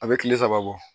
A bɛ kile saba bɔ